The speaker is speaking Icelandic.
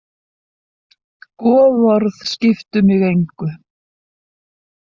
Goðorð skiptu mig engu.